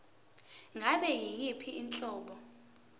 ngabe yiyiphi inhlobo